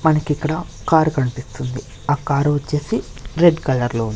మనకిక్కడ కారు కనిపిస్తుంది ఆ కారు వచ్చేసి రెడ్ కలర్లో ఉన్.